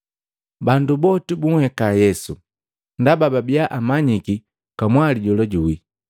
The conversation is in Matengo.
Bandu boti bunheka Yesu ndaba babia amanyiki kamwali jola juwii.